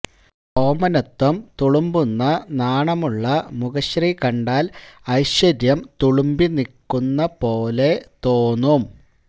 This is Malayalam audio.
ഓമനത്വം തുളുമ്പുന്ന നാണമുള്ള മുഖശ്രീ കണ്ടാൽ ഐശ്വര്യം തുളുമ്പി നിക്കുന്ന പോലെ തോന്നും